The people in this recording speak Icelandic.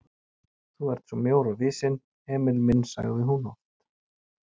Þú ert svo mjór og visinn, Emil minn sagði hún oft.